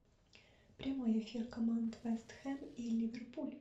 прямой эфир команд вест хэм и ливерпуль